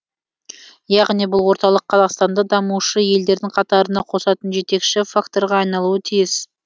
яғни бұл орталық қазақстанды дамушы елдердің қатарына қосатын жетекші факторға айналуы тиіс